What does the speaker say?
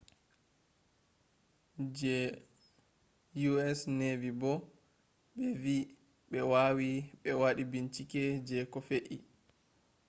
je us navy bo bevi be wawi be wadi bincike je koh fe’i